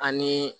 Ani